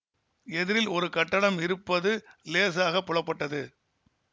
எதிரில் ஒரு கட்டடம் இருப்பது லேசாகப் புலப்பட்டது